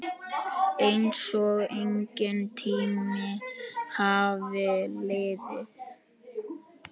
Einsog enginn tími hafi liðið.